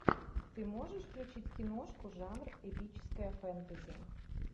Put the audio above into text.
ты можешь включить киношку жанр эпическое фэнтези